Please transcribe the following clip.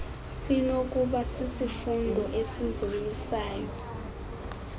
sinokuba sisifundo esizoyisayo